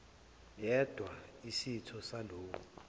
yedwa isitho salowo